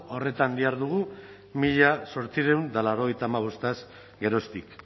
horretan dihardugu mila zortziehun eta laurogeita hamabostaz geroztik